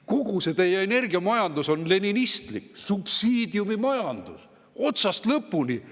Kogu see teie energiamajandus on leninistlik, subsiidiumimajandus, otsast lõpuni.